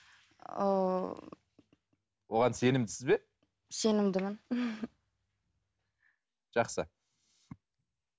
ыыы оған сенімдісіз бе сенімдімін жақсы